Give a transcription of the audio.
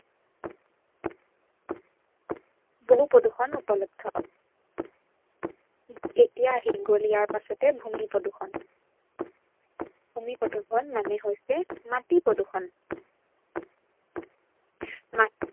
বহু প্ৰদূৰ্ষন উপলব্ধ। এতিয়া আহি গল ইয়াৰ পাছতে ভূমি প্ৰদূৰ্ষন। ভূমি প্ৰদূৰ্ষন মানে হল মাটি প্ৰদূৰ্ষন